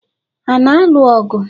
Ha na-alụ ọgụ?